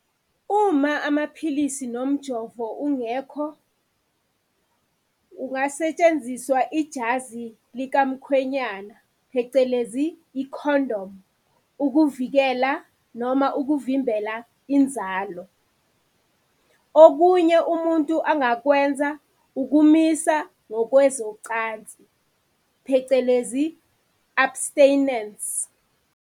Uma amaphilisi nomjovo ungekho, kungasentshenziswa ijazi likamkhwenyana phecelezi, ikhondomu, ukuvikela noma ukuvimbela inzalo. Okunye umuntu angakwenza ukumisa ngokwezocansi phecelezi, abstinence.